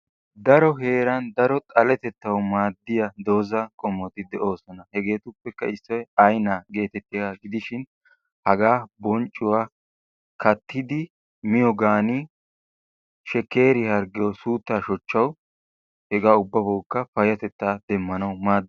Daro heeran daro xaletettawu maaddiya dozza qommoti de'oosona. Hegeetuppekka issoy aa'inaa geetettiyaga gidishin hagaa bonccuwa kattidi miyoogan shekkeriyaa harggiyawu suuttaa shochchawu hegaa ubbabawukka payyatettaa demmanawu maaddes.